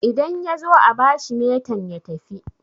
idan ya zo a bashi metan ya tafi